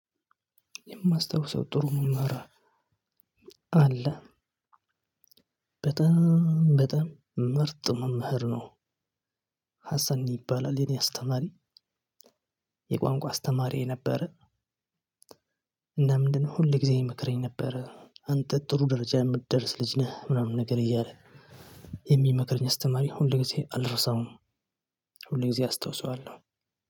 የማስታውሰው ጥሩ መምህር አለ። በጣም በጣም ምርጥ መምህር ነው። ሀሰን ይባላል የኔ አስተማሪ የቋንቋ አስተማሪዬ ነበር። እና ምንድነው ሁል ጊዜ ይምክረኝ ነበር አንተ ጥሩ ደረጃ የምትደርስ ልጅ ነህ ምናምን ነገር እያለ የሚመክርኝ አስተማሪ ሁሌ ጊዜ አልረሳሁም። ሁሉ ጊዜ አስታውሰዋለሁ።